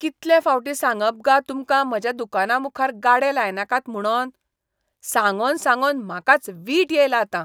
कितले फावटीं सांगप गा तुमकां म्हाज्या दुकानामुखार गाडे लायनाकात म्हुणोन? सांगोन सांगोन म्हाकाच वीट येयला आतां.